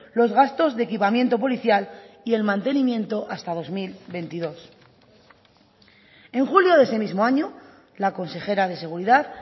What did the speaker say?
los gastos de equipamiento policial y el mantenimiento hasta dos mil veintidós en julio de ese mismo año la consejera de seguridad